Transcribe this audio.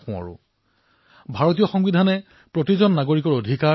আৰু এইবাৰৰ সংবিধান দিৱস এইবাবেই বিশেষ কিয়নো এইটো বৰ্ষত সংবিধানৰ ৭০তম বৰ্ষ সম্পূৰ্ণ হৈছে